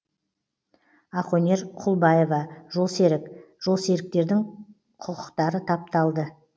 ақөнер құлбаева жолсерік жолсеріктердің құқытары тапталды